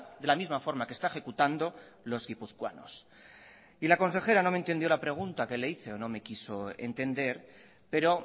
de la misma forma que está ejecutando los guipuzcoanos la consejera no me entendió la pregunta que le hice o no me quiso entender pero